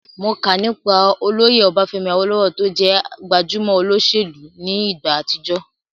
Mo kà nípa olóyè Ọbafẹ́mi Awólówọ̀ tó jẹ́ gbajúmọ̀ olóṣèlú ní ìgbà àtijọ́